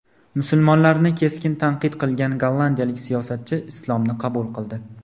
Musulmonlarni keskin tanqid qilgan gollandiyalik siyosatchi islomni qabul qildi.